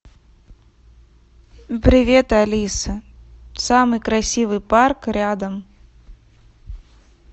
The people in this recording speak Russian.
привет алиса самый красивый парк рядом